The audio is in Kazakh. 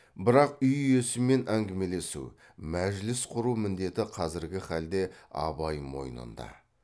бірақ үй иесімен әңгімелесу мәжіліс құру міндеті қазіргі халде абай мойнында